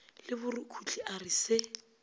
le borukhuhli a re se